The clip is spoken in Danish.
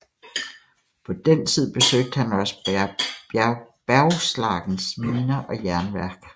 På den tid besøgte han også Bergslagens miner og jernværk